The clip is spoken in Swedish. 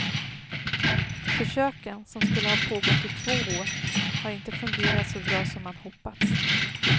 Försöken, som skulle ha pågått i två år, har inte fungerat så bra som man hoppats.